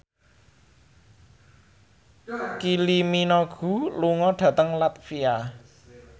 Kylie Minogue lunga dhateng latvia